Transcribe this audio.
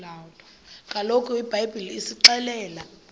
kaloku ibhayibhile isixelela